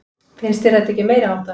Finnst þér þetta ekki meiriháttar?